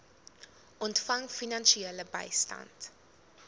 ontvang finansiële bystand